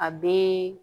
A bɛ